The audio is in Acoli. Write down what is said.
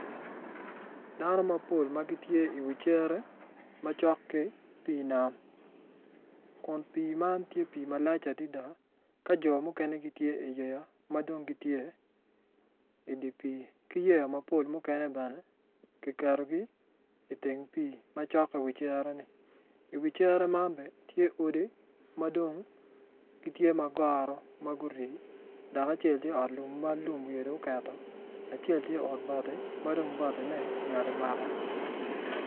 Dano mapol ma gitye iwi cere ma cok ki pii nam kun pii man tye pii ma lac adada ka jo mukene gitye iyeya ma dong gitye idi pii ki yeya mapol mukene bene kiketogi iteng pii macok ki wi cereni iwi cere man bene tye odi ma dong gitye ma goro ma guri dok acel tye ot lum ma lum wiye dong oketo acel tye ot bati ma dong batine nyal omako.